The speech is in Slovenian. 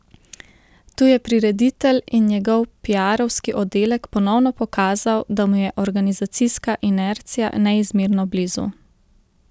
Tu je prireditelj in njegov piarovski oddelek ponovno pokazal, da mu je organizacijska inercija neizmerno blizu.